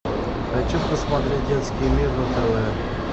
хочу посмотреть детский мир на тв